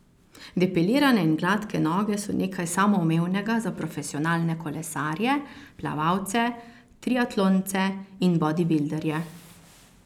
Depilirane in gladke noge so nekaj samoumevnega za profesionalne kolesarje, plavalce, triatlonce in bodibilderje.